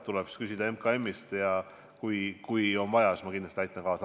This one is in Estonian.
Tuleb küsida MKM-ist ja kui on vaja, siis ma kindlasti aitan kaasa.